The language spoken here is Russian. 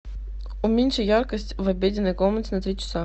уменьши яркость в обеденной комнате на три часа